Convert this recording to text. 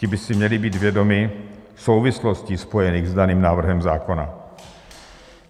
Ti by si měli být vědomi souvislostí, spojených s daným návrhem zákona.